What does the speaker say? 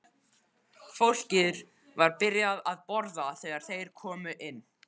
Fólkið var byrjað að borða þegar þeir komu inn.